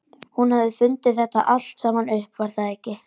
Hún hafði fundið þetta allt saman upp, var það ekki?